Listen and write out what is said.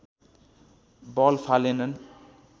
बल फालेनन्